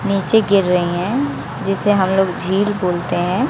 नीचे गिर रही हैं जिसे हम लोग झील बोलते हैं।